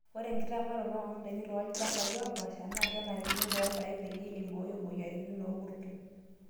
Ore enkitamaroto oondaikin tolachampai oopasha naa kenarikino toorpaek peyie eibooyo moyiaritin woorkurto.